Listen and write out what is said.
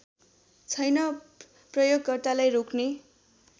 छैन प्रयोगकर्तालाई रोक्ने